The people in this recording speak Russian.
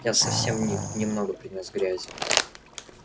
я совсем не немного принёс грязи